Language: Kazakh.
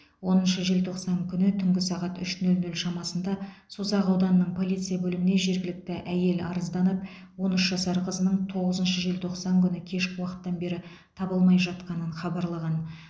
оныншы желтоқсан күні түнгі сағат үш нөл нөл шамасында созақ ауданының полиция бөліміне жергілікті әйел арызданып он үш жасар қызының тоғызыншы желтоқсан күні кешкі уақыттан бері табылмай жатқанын хабарлаған